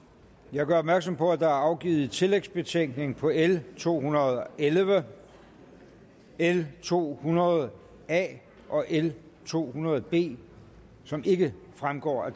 jeg gør opmærksom på at der er afgivet tillægsbetænkning på l to hundrede og elleve l to hundrede a og l to hundrede b som ikke fremgår af